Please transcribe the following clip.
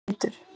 Pétur